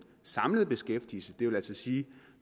samlede beskæftigelse det vil sige at